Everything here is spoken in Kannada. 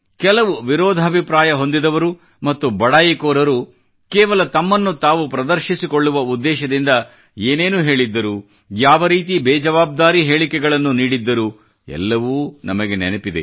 ಕೆಲವು ವಿರೋಧಾಭಿಪ್ರಾಯ ಹೊಂದಿದವರು ಮತ್ತು ಬಡಾಯಿಕೋರರು ಕೇವಲ ತಮ್ಮನ್ನು ತಾವು ಪ್ರದರ್ಶಿಸಿಕೊಳ್ಳುವ ಉದ್ದೇಶದಿಂದ ಏನೇನು ಹೇಳಿದ್ದರು ಯಾವ ರೀತಿ ಬೇಜವಾಬ್ದಾರಿ ಹೇಳಿಕೆಗಳನ್ನು ನೀಡಿದ್ದರು ನಮಗೆ ಎಲ್ಲವೂ ನೆನಪಿದೆ